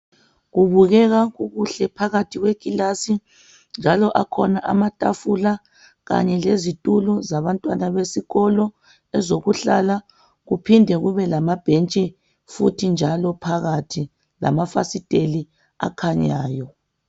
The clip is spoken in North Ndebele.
Kubukeka kukuhle phakathi kwekilasi njalo akhona amatafula kanye lezitulo zabantwana besikolo ezokuhlala ,kuphinde kube lamabhentshi futhi njalo phakathi lamafasiteli akhanyayo.